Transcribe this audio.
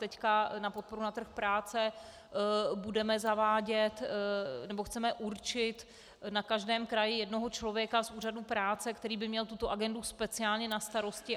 Teď na podporu na trh práce budeme zavádět, nebo chceme určit na každém kraji jednoho člověka z úřadu práce, který by měl tuto agendu speciálně na starosti.